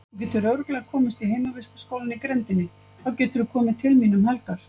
Þú getur örugglega komist í heimavistarskólann í grenndinni, þá geturðu komið til mín um helgar.